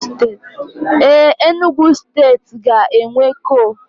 Éè, Enugu steeti ga-enwe kol